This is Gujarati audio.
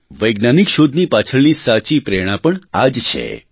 વૈજ્ઞાનિક શોધની પાછળની સાચી પ્રેરણા પણ આ જ છે